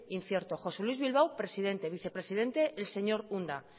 incierto josé luis bilbao presidente vicepresidente el señor unda